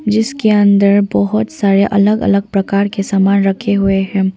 जिसके अंदर बहुत सारे अलग अलग प्रकार के सामान रखे हुए हैं।